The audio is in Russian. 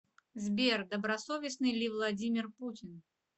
сбер добросовестный ли владимир путин